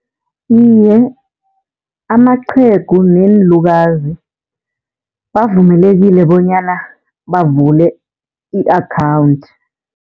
Iye, amaqhegu neenlukazi bavumelekile bonyana bavule i-akhawunthi.